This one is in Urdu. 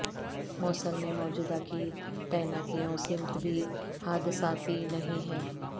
موصل میں موجودہ کی تعیناتیوں سمت بھی حادثاتی نہیں ہے